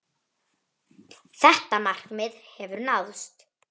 Þetta markmið hefur náðst.